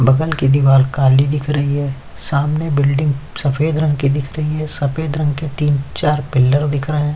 बगल की दीवाल काली दिख रही है सामने बिल्डिंग सफेद रंग की दिख रही है सफेद रंग के तीन चार पिलर दिख रहे है।